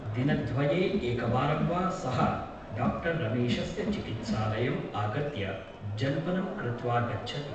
दिनद्वये एकवारं वा सः डा रमेशस्य चिकित्सालयम् आगत्य जल्पनं कृत्वा गच्छति ।